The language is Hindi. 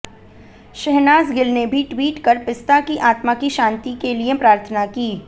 शहनाज़ गिल ने भी ट्वीट कर पिस्ता की आत्मा की शांति के लिए प्रार्थना की